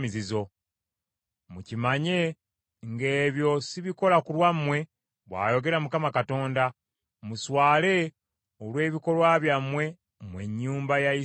Mukimanye ng’ebyo sibikola ku lwammwe, bw’ayogera Mukama Katonda. Muswale olw’ebikolwa byammwe, mmwe ennyumba ya Isirayiri.